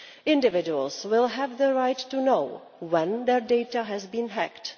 Individuals will have the right to know when their data has been hacked.